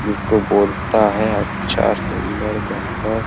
जिसको बोलता है अच्छा सुंदर बढ़िया।